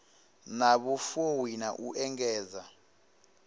na vhufuwi na u engedza